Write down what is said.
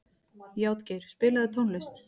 Játgeir, spilaðu tónlist.